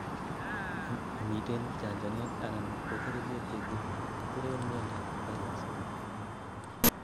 momiten chanchanet anan ko kerichek chekiteren miandap chagas